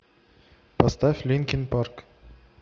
поставь линкин парк